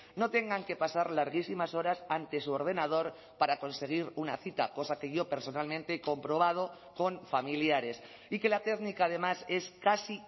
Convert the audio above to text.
no tengan que pasar larguísimas horas ante su ordenador para conseguir una cita cosa que yo personalmente he comprobado con familiares y que la técnica además es casi